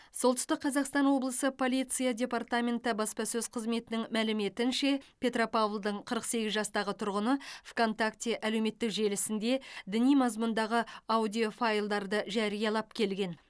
солтүстік қазақстан облысы полиция департаменті баспасөз қызметінің мәліметінше петропавлдың қырық сегіз жастағы тұрғыны вконтакте әлеуметтік желісінде діни мазмұндағы аудиофайлдарды жариялап келген